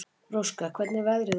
Róska, hvernig er veðrið úti?